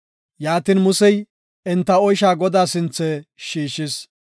Yaatin, Musey enta oysha Godaa sinthe shiishis.